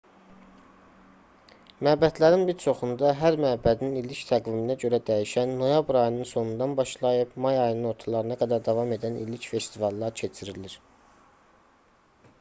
məbədlərin bir çoxunda hər məbədin illik təqviminə görə dəyişən noyabr ayının sonundan başlayıb may ayının ortalarına qədər davam edən illik festivallar keçirilir